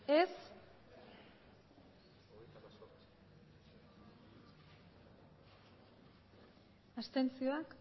aurkako botoak abstentzioak